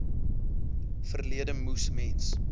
verlede moes mens